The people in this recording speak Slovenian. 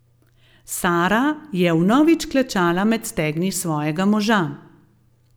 Sara je vnovič klečala med stegni svojega moža.